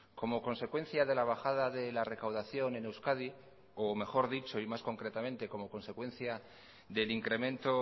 como consecuencia de la bajada de la recaudación en euskadi o mejor dicho y más concretamente como consecuencia del incremento